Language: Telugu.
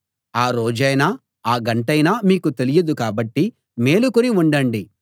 ఆ రోజైనా ఆ గంటైనా మీకు తెలియదు కాబట్టి మేలుకుని ఉండండి